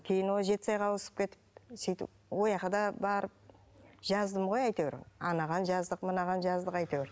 кейін ол жетісайға ауысып кетіп сөйтіп да барып жаздым ғой әйтеуір анаған жаздық мынаған жаздық әйтеуір